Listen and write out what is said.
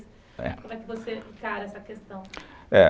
Como é que você encara essa questão? é